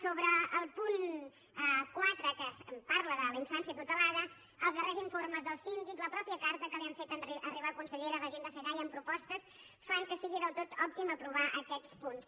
sobre el punt quatre que parla de la infància tutelada els darrers informes del síndic la mateixa carta que li han fet arribar consellera la gent de fedaia amb propostes fan que sigui del tot òptim aprovar aquests punts